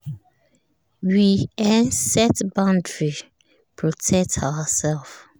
we um set boundary protect ourselves um